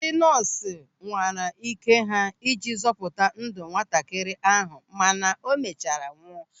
Ndị nọọsụ nwara ị́ké ha iji zọpụta ndụ nwatakịrị ahụ mana o mechara nwụọ.